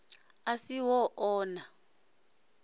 a si ho o na